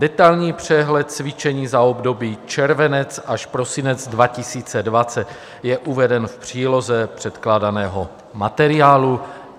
Detailní přehled cvičení za období červenec až prosinec 2020 je uveden v příloze předkládaného materiálu.